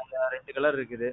அதுல ரெண்டு கலர் இருக்குது.